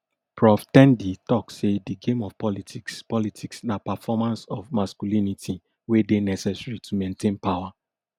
prof ten di tok say di game of politics politics na performance of masculinity wey dey necessary to maintain power